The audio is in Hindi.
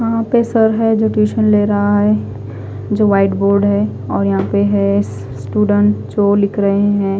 यहा पे सर है जो टिउसन ले रहा है जो वाइट बोर्ड है और यहा पे है स्टूडेंट जो लिख रहे है।